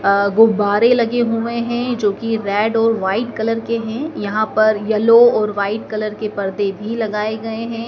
अ गुब्बारे लगे हुए हैं जो की रेड और व्हाइट कलर के हैं यहां पर येलो और वाइट कलर के पर्दे भी लगाए गए हैं।